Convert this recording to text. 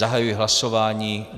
Zahajuji hlasování.